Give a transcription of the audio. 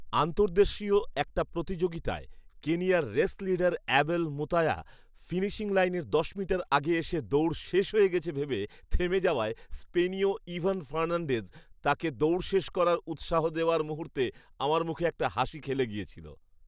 আন্তর্দেশীয় একটা প্রতিযোগিতায় কেনিয়ার race leader Abel Mutai finishing লাইনের দশ মিটার আগে এসে দৌড় শেষ হয়ে গেছে ভেবে থেমে যাওয়ায় স্পেনীয় ইভান ফার্নান্ডেজ তাঁকে দৌড় শেষ করার উৎসাহ দেওয়ার মুহূর্তে আমার মুখে একটা হাসি খেলে গিয়েছিল।